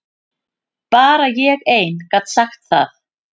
Bara ég ein gat sagt það.